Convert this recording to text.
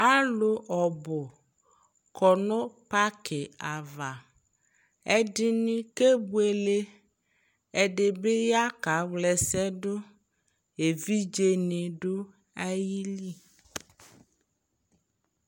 Alʋ ɔbʋ kɔ nʋ pakɩ ava ɛdɩnɩ kebʋele ɛdɩbɩ ya kawlaɛsɛdʋ evɩdze nɩ dʋ ayɩlɩ